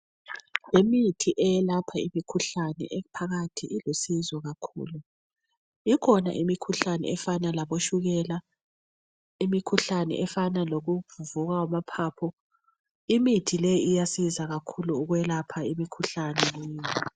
Imithi eyalapha imikhuhlane e phakathi ilusizo kakhulu. Ikhona imikhuhlane efana labotshukela imikhuhlane efana lokuvuvuka amaphaphu imithi leyi iyasiza kakhulu ukwelapha imikhuhlane.